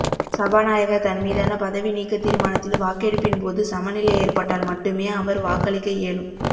சபாநாயகர் தன் மீதான பதவி நீக்கத் தீர்மானத்தில் வாக்கெடுப்பின் போது சமநிலை ஏற்பட்டால் மட்டுமே அவர் வாக்களிக்க இயலும்